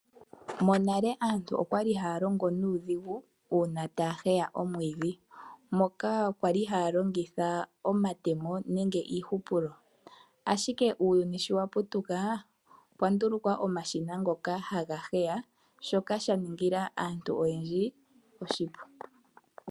Monale aantu okwali haya longo nuudhigu mono yali haya heya omwiidhi taya longitha iihupulo nenge omatemo ashike uuyuni sho waputuka opwa ndulukwa omashina ngoka haga heya nosha ningila aantu oshipu.